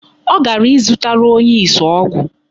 Ọ gara ịzụtara onye isi ọgwụ.